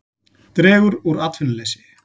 Dregur úr atvinnuleysi